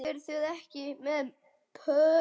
Eruð þið ekki með börur?